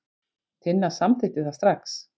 Tinna samþykkti það strax.